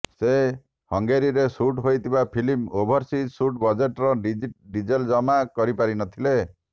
ସେ ହଙ୍ଗେରୀରେ ସୁଟ୍ ହୋଇଥିବା ଫିଲ୍ମର ଓଭରସିଜ ସୁଟ୍ ବଜେଟର ଡିଟେଲ୍ ଜମା କରି ପାରିନଥିଲେ